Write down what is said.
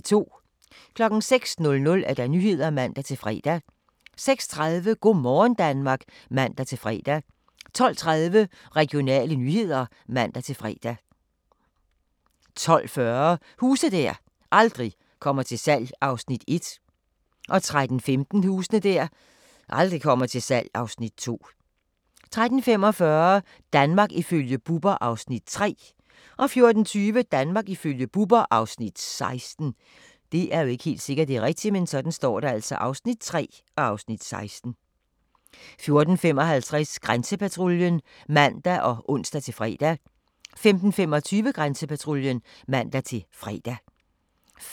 06:00: Nyhederne (man-fre) 06:30: Go' morgen Danmark (man-fre) 12:30: Regionale nyheder (man-fre) 12:40: Huse der aldrig kommer til salg (Afs. 1) 13:15: Huse der aldrig kommer til salg (Afs. 2) 13:45: Danmark ifølge Bubber (Afs. 3) 14:20: Danmark ifølge Bubber (Afs. 16) 14:55: Grænsepatruljen (man og ons-fre) 15:25: Grænsepatruljen (man-fre) 15:55: